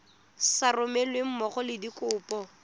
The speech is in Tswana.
sa romelweng mmogo le dikopo